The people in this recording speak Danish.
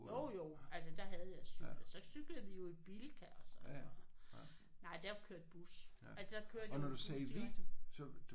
Jo jo altså der havde jeg cykler. Så cyklede vi jo i Bilka og sådan noget. Nej der kørte bus altså der kørte jo en bus direkte